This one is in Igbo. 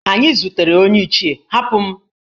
Anyi zutere onye Ichie, Hapụ m!